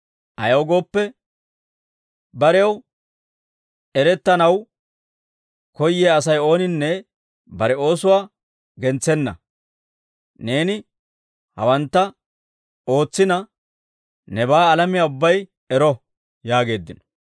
Ayaw gooppe, barew erettanaw koyyiyaa Asay ooninne bare oosuwaa gentsenna. Neeni hawantta ootsina, nebaa alamiyaa ubbay ero!» yaageeddino.